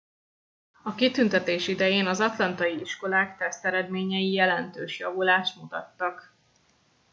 a kitüntetés idején az atlantai iskolák teszteredményei jelentős javulást mutattak